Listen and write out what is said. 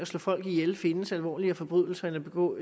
slå folk ihjel findes alvorligere forbrydelser end at begå